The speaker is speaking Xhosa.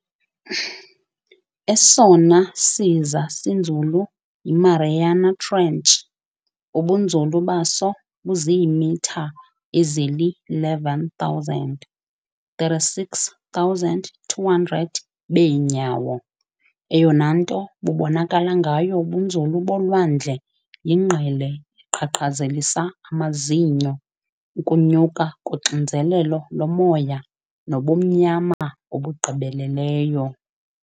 Esona siza sinzulu yi-Mariana Trench, ubunzulu baso buziimitha ezili-11,000, 36,200 beenyawo. Eyona nto bubonakala ngayo ubunzulu bolwandle yingqele eqhaqhazelisa amazinyo, ukunyuka koxinzelelo lomoya, nobumnyama obugqibeleleyo.